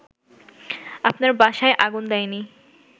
আপনার বাসায় আগুন দেয়নি